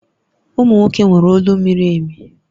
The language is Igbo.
Ụmụ nwoke nwere olu miri emi